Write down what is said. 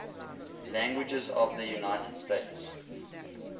languages of the united states